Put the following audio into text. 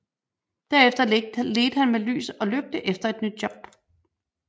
Derefter ledte han med lys og lygte efter et nyt job